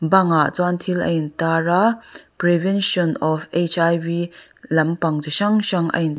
bangah chuan thil a in tar a prevention of lampang chi hrang hrang a in--